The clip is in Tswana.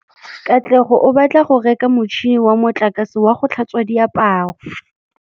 Katlego o batla go reka motšhine wa motlakase wa go tlhatswa diaparo.